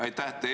Aitäh!